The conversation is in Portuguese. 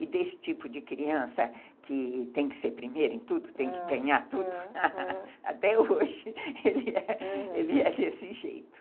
E desse tipo de criança, que tem que ser primeiro em tudo, tem que ganhar tudo, até hoje ele é desse jeito, aham.